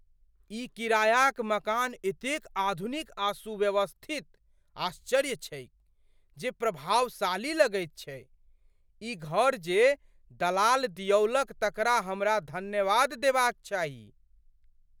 ई किरायाक मकान एतेक आधुनिक आ सुव्यवस्थित आश्चर्य छैक जे प्रभावशाली लगैत छैक । ई घर जे दलाल दियौलक तकरा हमरा धन्यवाद देबाक चाही।